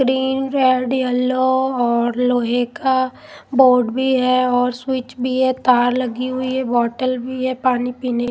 green red yellow और लोहे का बोर्ड भी है और स्विच भी है तार लगी हुई है बोतल भी है पानी पीने--